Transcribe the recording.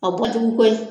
A bɔ jugu koyi